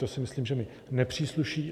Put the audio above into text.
To si myslím, že mi nepřísluší.